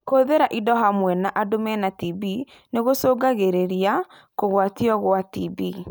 Kũhũthĩra indo hamwe na andũ mena TB nogũcũngĩrĩrie kũgwatio gwa TB.